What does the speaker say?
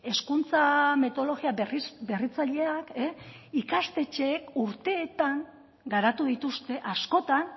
hezkuntza metodologia berritzaileak ikastetxeek urteetan garatu dituzte askotan